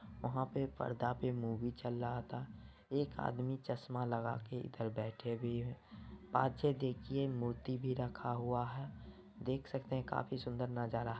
वहां पे पर्दा पे मूवी चल रहा था एक आदमी चसमा लगा के इधर बेठे हुए देखिये मूर्ति भी रखा हुआ है देख सकते है काफी सुंदर नजारा है।